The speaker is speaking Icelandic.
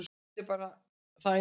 Það er bara það einfalt.